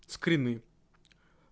скрины